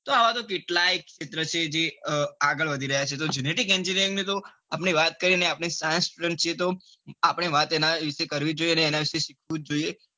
તો આવૅ કેટલાય ક્ષેત્ર જે આગળ વધી રહ્યા છે તો genetic engineering ની વાત કરીએ આપડે સારા student છીએ તો આપડે વાત એના વિશે કરવી જોઈએ ને એના વિશે શીખવું જ જોઈએ.